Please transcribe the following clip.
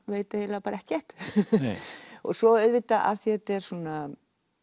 veit eiginlega bara ekkert svo auðvitað af því þetta er svona